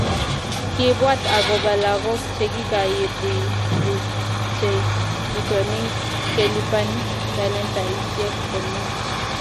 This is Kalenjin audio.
Kiibwat agobo lagok chekikairiruchkei, bitonin kelipani talentaisiek komie